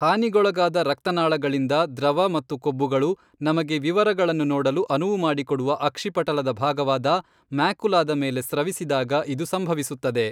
ಹಾನಿಗೊಳಗಾದ ರಕ್ತನಾಳಗಳಿಂದ ದ್ರವ ಮತ್ತು ಕೊಬ್ಬುಗಳು , ನಮಗೆ ವಿವರಗಳನ್ನು ನೋಡಲು ಅನುವು ಮಾಡಿಕೊಡುವ ಅಕ್ಷಿಪಟಲದ ಭಾಗವಾದ ಮ್ಯಾಕುಲಾದ ಮೇಲೆ ಸ್ರವಿಸಿದಾಗ ಇದು ಸಂಭವಿಸುತ್ತದೆ.